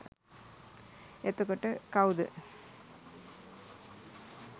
එතකොට කවුද